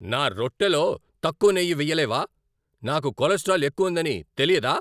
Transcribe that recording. నా రొట్టెలో తక్కువ నెయ్యి వెయ్యలేవా? నాకు కొలెస్ట్రాల్ ఎక్కువ ఉందని తెలీదా?